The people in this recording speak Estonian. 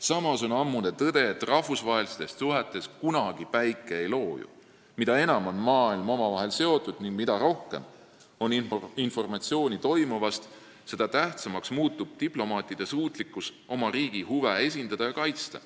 Samas on ammune tõde see, et rahvusvahelistes suhetes ei looju päike kunagi: mida enam on maailm omavahel seotud ning mida rohkem on informatsiooni toimuva kohta, seda tähtsamaks muutub diplomaatide suutlikkus oma riigi huve esindada ja kaitsta.